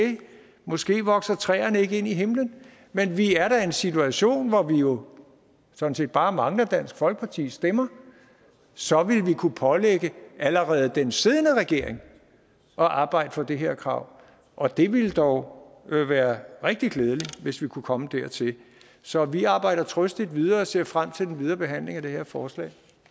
måske vokser træerne ikke ind i himlen men vi er da i en situation hvor vi jo sådan set bare mangler dansk folkepartis stemmer så vil vi kunne pålægge allerede den siddende regering at arbejde for det her krav og det ville dog være rigtig glædeligt hvis vi kunne komme dertil så vi arbejder trøstigt videre og ser frem til den videre behandling af det her forslag